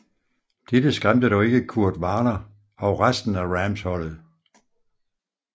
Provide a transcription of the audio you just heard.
Dette skræmte dog ikke Kurt Warner og resten af Rams holdet